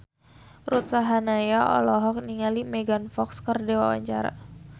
Ruth Sahanaya olohok ningali Megan Fox keur diwawancara